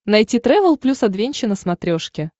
найти трэвел плюс адвенча на смотрешке